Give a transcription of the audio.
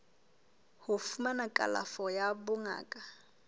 ho fumana kalafo ya bongaka